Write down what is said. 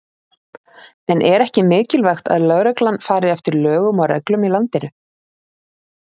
En er ekki mikilvægt að lögreglan fari eftir lögum og reglum í landinu?